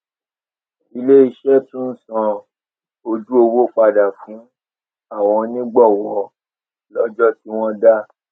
ilé iṣé tún san ojú owó padà fún àwọn onígbòwó lójó tí wón dá